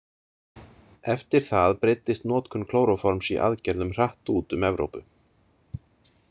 Eftir það breiddist notkun klóróforms í aðgerðum hratt út um Evrópu.